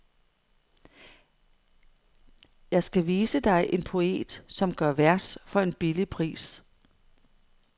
Jeg skal vise dig en poet, som gør vers for en billig pris.